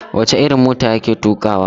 Wace irin mota ya ke tukawa?